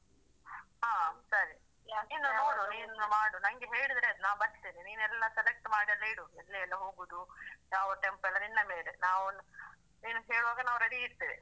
ಹಾ ಸರಿ ಇನ್ನು ನೋಡು ನೀನು ಮಾಡು ನನ್ಗೆ ಹೇಳಿದ್ರೆ ಆಯ್ತು ನಾನು ಬರ್ತೇನೆ ನೀನು ಎಲ್ಲಾ select ಮಾಡಿ ಎಲ್ಲಾ ಇಡು ಎಲ್ಲಿ ಎಲ್ಲಾ ಹೋಗುವುದು ಯಾವ tempo ಎಲ್ಲಾ ನಿನ್ನ ಮೇಲೆ ನಾವು ನೀನು ಹೇಳುವಾಗ ನಾವು ready ಇರ್ತೇವೆ.